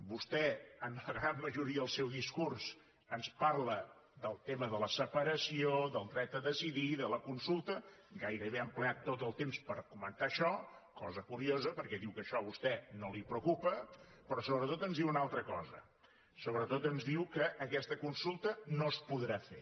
vostè en la gran majoria del seu discurs ens parla del tema de la separació del dret a decidir de la consulta gairebé ha emprat tot el temps per comentar això cosa curiosa perquè diu que això a vostè no la preocupa però sobretot ens diu una altra cosa sobretot ens diu que aquesta consulta no es podrà fer